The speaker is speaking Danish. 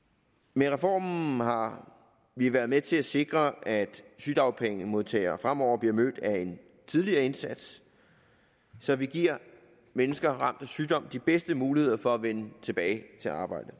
med reformen har vi været med til at sikre at sygedagpengemodtagere fremover bliver mødt af en tidligere indsats så vi giver mennesker ramt af sygdom de bedste muligheder for at vende tilbage til arbejdet